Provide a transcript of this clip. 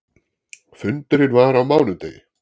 Fundurinn var á mánudegi.